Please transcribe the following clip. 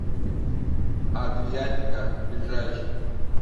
адриатика ближайший